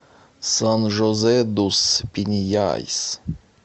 сан жозе дус пиньяйс